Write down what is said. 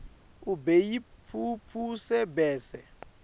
ube yimphuphu bese